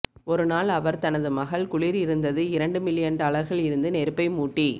ஒரு நாள் அவர் தனது மகள் குளிர் இருந்தது இரண்டு மில்லியன் டாலர்கள் இருந்து நெருப்பை மூட்டி